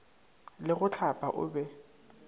le go hlapa o be